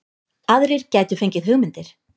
Aðrir gætu fengið hugmyndir